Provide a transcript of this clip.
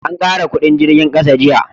an kara kudin jirgin ƙasa jiya